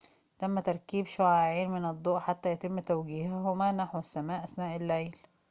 تم تركيب شعاعين من الضوء حتى يتم توجيههما نحو السماء أثناء الليل